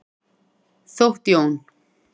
Þótt Jón.